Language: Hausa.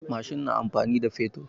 Mashin na aiki da fetur.